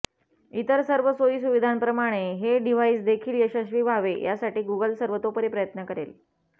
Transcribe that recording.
इतर सर्व सोयीसुविधांप्रमाणे हे डिव्हाइसदेखील यशस्वी व्हावे यासाठी गुगल सर्वतोपरी प्रयत्न करेल